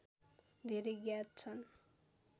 धेरै ज्ञात छन्